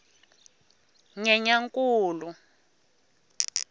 nyenyankulu